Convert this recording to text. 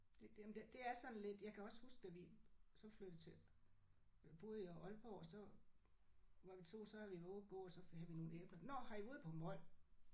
Det det jamen det er sådan lidt jeg kan også huske da vi så flyttede til øh boede i Aalborg så var vi tog så havde vi været ude at gå så havde vi nogle æbler. Nåh har I været ude på mol